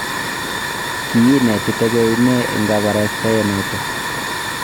kiinetitegei ne eng' kabarastae noto?